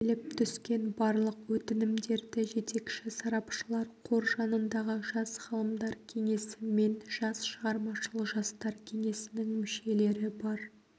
келіп түскен барлық өтінімдерді жетекші сарапшылар қор жанындағы жас ғалымдар кеңесі мен жас шығармашыл жастар кеңесінің мүшелері бар